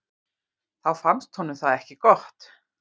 Þá fannst honum það ekki gott.